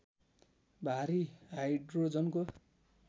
भारी हाइड्रोजनको